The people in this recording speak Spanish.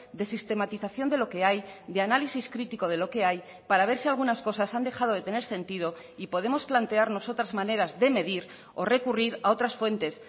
de sistematización de lo que hay de análisis crítico de lo que hay para ver si algunas cosas han dejado de tener sentido y podemos plantearnos otras maneras de medir o recurrir a otras fuentes